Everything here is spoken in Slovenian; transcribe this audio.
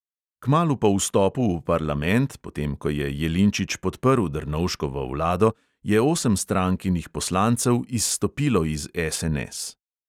Kmalu po vstopu v parlament, potem ko je jelinčič podprl drnovškovo vlado, je osem strankinih poslancev izstopilo iz SNS.